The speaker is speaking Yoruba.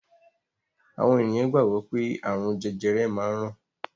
Àwọn ènìyàn gbàgbọ́ pé ààrùn jẹjẹrẹ máa ń ràn